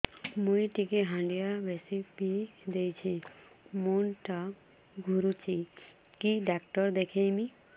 ମୁଇ ଟିକେ ହାଣ୍ଡିଆ ବେଶି ପିଇ ଦେଇଛି ମୁଣ୍ଡ ଟା ଘୁରୁଚି କି ଡାକ୍ତର ଦେଖେଇମି